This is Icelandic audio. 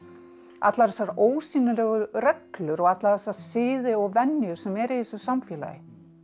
allar þessar ósýnilegu reglur og alla þessa siði og venjur sem eru í þessu samfélagi